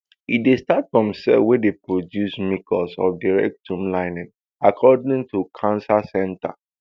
e dey start form cell wey dey produce mucus of di rectum lining according to cancer centre